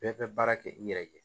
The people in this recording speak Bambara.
Bɛɛ bɛ baara kɛ i yɛrɛ ye